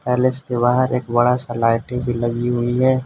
Palace के बाहर एक बड़ा सा लाइटिंग भी लगी हुई है।